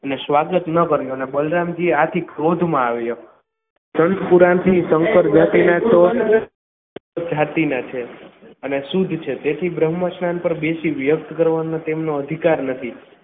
અને સ્વાગત ન કરી અને બલરામ જઈએ આથી ક્રોધમાં આવ્યો જાતિના છે અને શુદ્ધ છે તે તેથી બ્રહ્મસ્થાન પર બેસીને વ્યર્થ કરવાનો તેમનો અધિકાર નથી.